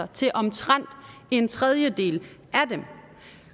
til omtrent en tredjedel af dem